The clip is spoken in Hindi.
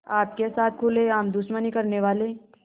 आपके साथ खुलेआम दुश्मनी करने वाले